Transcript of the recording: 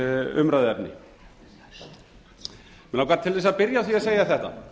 umræðuefni mig langar til þess að byrja á því að segja þetta